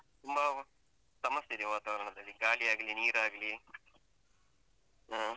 ತುಂಬ ಸಮಸ್ಯೆ ಇದೆ ವಾತಾವರಣದಲ್ಲಿ, ಗಾಳಿ ಆಗ್ಲಿ ನೀರಾಗ್ಲಿ ಅಹ್.